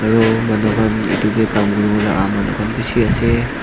aru manu khan etu kae kam kurivo aha manu khan beshi asa.